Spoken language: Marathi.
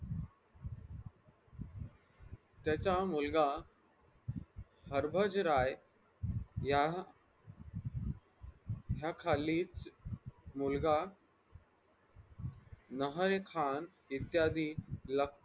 त्याच्यामुळगा हरभज राय या या खाली मुलगा लहाय खान इत्यादी लखपत